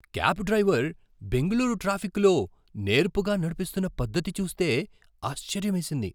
Cab driver Bengaluru ట్రాఫిక్కులో నేర్పుగా నడిపిస్తున్న పద్ధతి చూస్తే ఆశ్చర్యమేసింది.